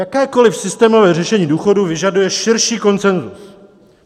Jakékoliv systémové řešení důchodů vyžaduje širší konsenzus.